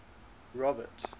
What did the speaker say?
robert